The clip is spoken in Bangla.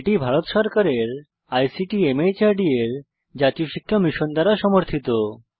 এটি ভারত সরকারের আইসিটি মাহর্দ এর জাতীয় শিক্ষা মিশন দ্বারা সমর্থিত